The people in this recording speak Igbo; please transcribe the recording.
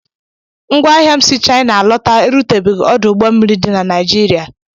Ngwaahịa m si Shaịna alọta erutebeghị ọdụ ụgbọ mmiri dị na Naịjịrịa.